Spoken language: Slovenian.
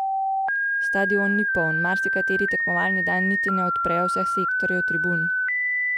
Stadion ni poln, marsikateri tekmovalni dan niti ne odprejo vseh sektorjev tribun.